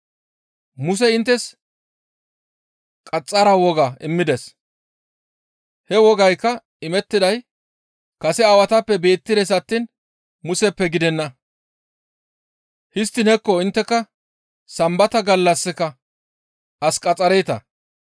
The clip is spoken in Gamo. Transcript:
Musey inttes qaxxara woga immides; he wogaykka imettiday kase aawatappe beettides attiin Museppe gidenna. Histtiin hekko intteka Sambata gallassika as qaxxareeta.